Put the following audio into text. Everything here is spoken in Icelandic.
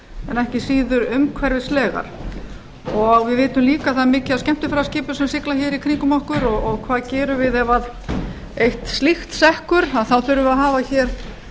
en ekki síður umhverfislegar við vitum líka að það er mikið af skemmtiferðaskipum sem sigla í kringum okkur og hvað gerum við ef eitt slíkt sekkur þá þurfum við að hafa hér